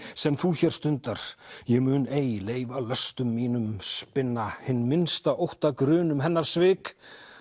sem þú hér stundar ég mun ei leyfa mínum spinna hinn minnsta ótta grun um hennar svik